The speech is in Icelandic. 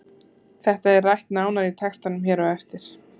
Þetta er rætt nánar í textanum hér á eftir.